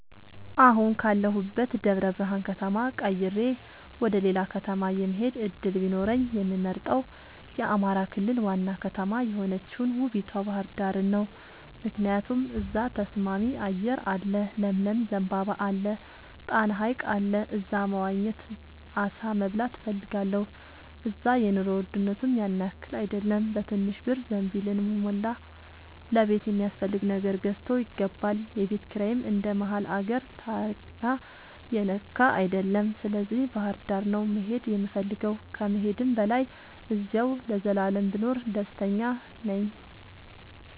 አሁን ካለሁበት ደብረብርሃን ከተማ ቀይሬ ወደሌላ ከተማ የመሆድ እድል ቢኖረኝ የምመርጠው የአማራ ክልል ዋና ከተማ የሆነችውን ውቡቷ ባህርዳርን ነው። ምክንያቱም እዛ ተስማሚ አየር አለ ለምለም ዘንባባ አለ። ጣና ሀይቅ አለ እዛ መዋኘት አሳ መብላት እፈልጋለሁ። እዛ የኑሮ ውድነቱም ያንያክል አይደለም በትንሽ ብር ዘንቢልን የሞላ ለቤት የሚያስፈልግ ነገር ገዝቶ ይገባል። የቤት ኪራይም እንደ መሀል አገር ታሪያ የነካ አይደለም ስለዚህ ባህርዳር ነው መሄድ የምፈልገው ከመሄድም በላይ አዚያው ለዘላለም ብኖር ደስተኛ ነኝ።